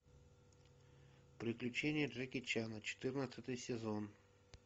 приключения джеки чана четырнадцатый сезон